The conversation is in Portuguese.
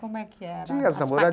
Como é que era? Tinha as